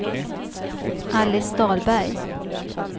Alice Dahlberg